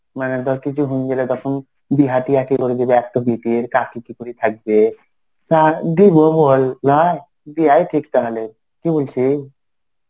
মানে তোর কিছু হয়েন গেলে তখন বিয়াহ টিয়াহ কি করে দিবে. একটা বেটি কাকি কি করে থাকবে. না দিব বল লয় দিয়াই ঠিক তাহলে. কি বলছি?